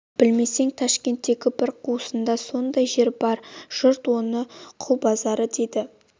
білмесең ташкенттің бір қуысында сондай жер бар жұрт оны құл базары дейді